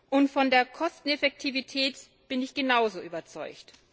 Und von der Kosteneffektivität bin ich genauso überzeugt.